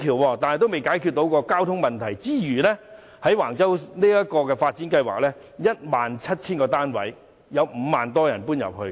在尚未解決交通問題前，便計劃在橫洲興建 17,000 多個公屋單位，預計會有5萬多人遷入。